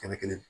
Kɛnɛ kelen